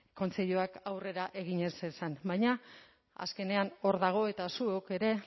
kontseiluak aurrera egin ez zezan baina azkenean hor dago eta zuok ere